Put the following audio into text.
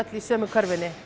í sömu körfunni